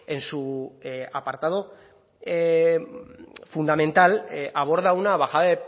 en su apartado fundamental aborda una bajada